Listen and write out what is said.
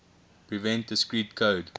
prevent discrete code